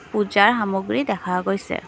পূজাৰ সামগ্ৰী দেখা গৈছে।